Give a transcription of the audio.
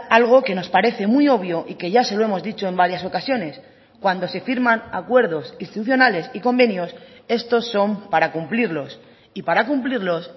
algo que nos parece muy obvio y que ya se lo hemos dicho en varias ocasiones cuando se firman acuerdos institucionales y convenios estos son para cumplirlos y para cumplirlos